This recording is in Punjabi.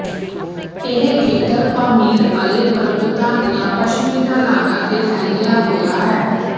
ਇਹ ਖੇਤਰ ਪਾਮੀਰਅਲੇ ਪਰਬਤਾਂ ਦੀਆਂ ਪੱਛਮੀ ਢਲਾਣਾਂ ਤੇ ਫੈਲਿਆ ਹੋਇਆ ਹੈ